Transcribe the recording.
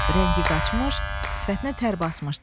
Rəngi qaçmış, sifətinə tər basmışdı.